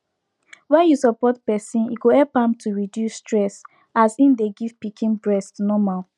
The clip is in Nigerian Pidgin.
when you support person e go help am to reduce stess as im dey give pikin breast normal